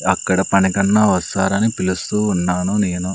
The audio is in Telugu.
అక్కడ పని కన్నా వస్తారని పిలుస్తూ ఉన్నాను నేను.